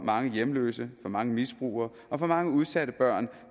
mange hjemløse for mange misbrugere og for mange udsatte børn